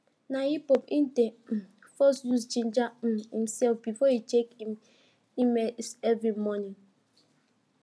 na hiphop e dey um first use ginger um himself before he check him emails every morning